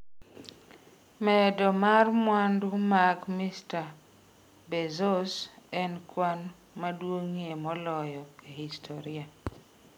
Medo mar mwandu mag Mr Bezos en kwan maduong’ie moloyo e historia.